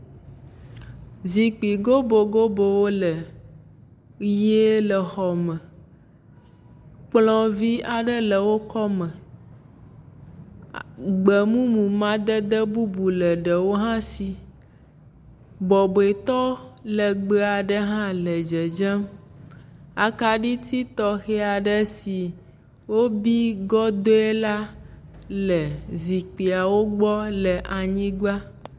Zikpui gobogobowo le ʋie le xɔ me. Kplɔ̃ vɛ̃ aɖe le wo kɔme. Gbemumu madada bubu le ɖewo hã si. Bɔbɔetɔ legbee aɖe hã le dzedzem. Akaɖiti tɔxɛ aɖe si wobi gɔdɔe la le zikpuiwo gbɔ le anyigba.